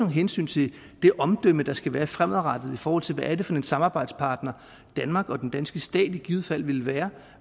hensyn til det omdømme der skal være fremadrettet i forhold til hvad det er for en samarbejdspartner danmark og den danske stat i givet fald vil være